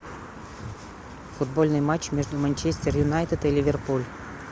футбольный матч между манчестер юнайтед и ливерпуль